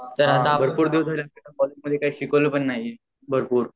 भरपूर दिवस झाले कॉलेज मधे काही शिकवल पण नाही भरपूर